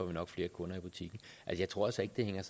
vi nok flere kunder i butikken jeg tror altså ikke det hænger